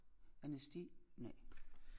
Anæsti nej